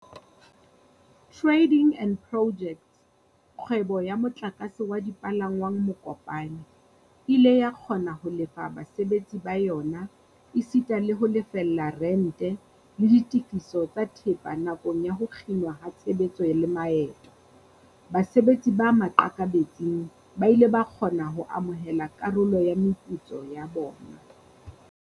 Trading and Pojects, kgwebo ya motlakase wa dipalangwang Mokopane, e ile ya kgona ho lefa basebetsi ba yona esita le ho lefella rente, le ditefiso tsa thepa nakong ya ho kginwa ha tshebetso le maeto. Basebetsi ba maqakabetsing ba ile ba kgona ho amohela karolo ya meputso ya bona.